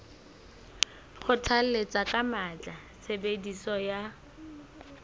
kgothalletsa ka matla tshebediso ya